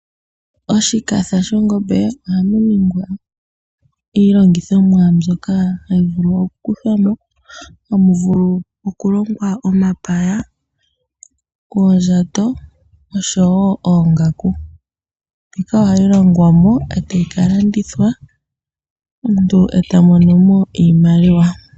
Oshikatha shongombe oha mu ningwa iilongithomwa mbyoka hayi vulu oku kuthwamo ha mu vulu okulongwa omapaya, oondjato oshowo oongaku, ndhika oha yi longwamo e tayi ka landithwa omuntu e ta monomo iimaliwa.